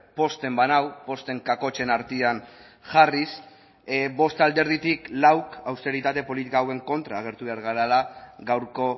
pozten banau posten kakotxen artean jarriz bost alderditik lauk austeritate politika hauen kontra agertu behar garela gaurko